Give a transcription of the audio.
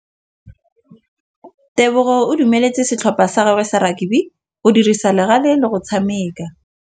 Tebogô o dumeletse setlhopha sa gagwe sa rakabi go dirisa le galê go tshameka.